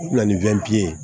O bɛna ni witiye